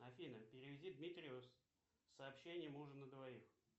афина переведи дмитрию сообщение ужин на двоих